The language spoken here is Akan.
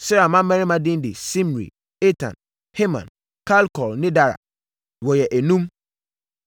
Serah mmammarima din de Simri, Etan, Heman, Kalkol ne Dara; wɔyɛ enum.